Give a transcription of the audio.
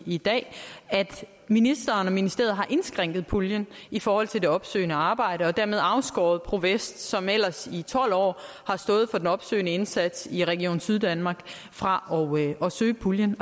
i dag at ministeren og ministeriet har indskrænket puljen i forhold til det opsøgende arbejde og dermed afskåret pro vest som ellers i tolv år har stået for den opsøgende indsats i region syddanmark fra at søge puljen